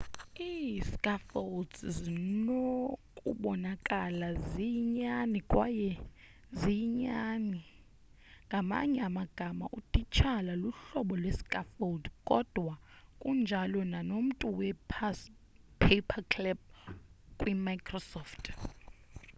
ii-scaffolds zinokubonakala ziyinyani kwaye ziyinyani ngamanye amagama utitshala luhlobo lwe-scaffold kodwa kunjalo nanomntu we-paperclip kwi-microsoft office